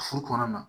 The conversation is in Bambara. Furu kɔnɔna na